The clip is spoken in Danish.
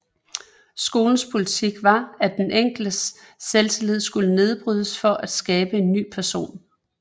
Skolens politik var at den enkeltes selvtillid skulle nedbrydes for at skabe en ny person